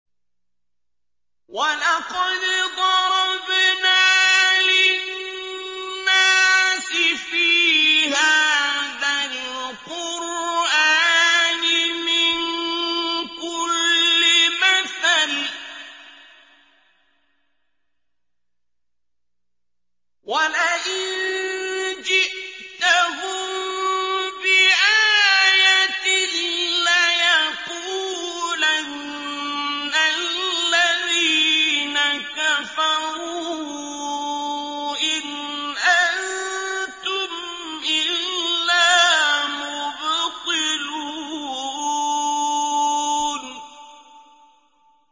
وَلَقَدْ ضَرَبْنَا لِلنَّاسِ فِي هَٰذَا الْقُرْآنِ مِن كُلِّ مَثَلٍ ۚ وَلَئِن جِئْتَهُم بِآيَةٍ لَّيَقُولَنَّ الَّذِينَ كَفَرُوا إِنْ أَنتُمْ إِلَّا مُبْطِلُونَ